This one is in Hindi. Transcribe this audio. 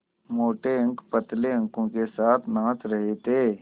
मोटे अंक पतले अंकों के साथ नाच रहे थे